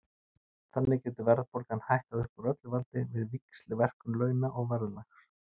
Þannig getur verðbólgan hækkað upp úr öllu valdi við víxlverkun launa og verðlags.